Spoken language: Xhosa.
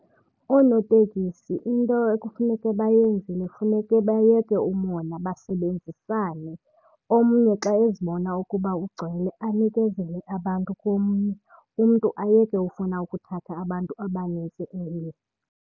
Oonotekisi into ekufuneke bayenzile funeke bayeke umona basebenzisane. Omnye xa ezibona ukuba ugcwele anikezele abantu komnye. Umntu ayeke ufuna ukuthatha abantu abanintsi emnye.